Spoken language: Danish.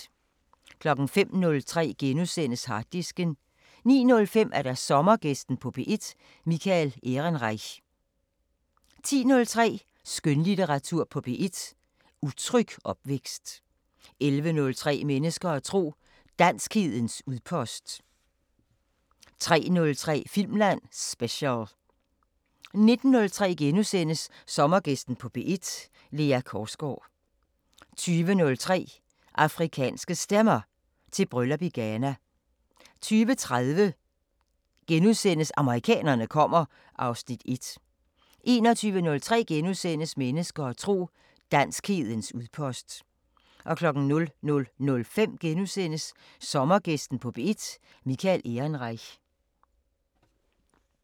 05:03: Harddisken * 09:05: Sommergæsten på P1: Michael Ehrenreich 10:03: Skønlitteratur på P1: Utryg opvækst 11:03: Mennesker og tro: Danskhedens udpost 13:03: Filmland Special 19:03: Sommergæsten på P1: Lea Korsgaard * 20:03: Afrikanske Stemmer: Til bryllup i Ghana 20:30: Amerikanerne kommer (Afs. 1)* 21:03: Mennesker og tro: Danskhedens udpost * 00:05: Sommergæsten på P1: Michael Ehrenreich *